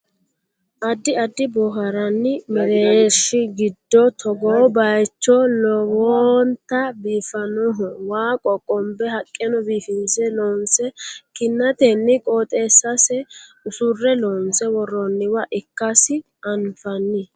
addi addi boohaarranni mereershi giddo togoo bayeechi lowonta biifannoho waa qoqqonbe haqqeno biifinse loonse kinnatenni qooxeessase usurre loonse worroonniwa ikkasi anfanni